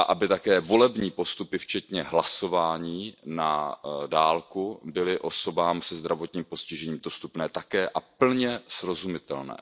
Také volební postupy včetně hlasování na dálku by měly být osobám se zdravotním postižením dostupné a plně srozumitelné.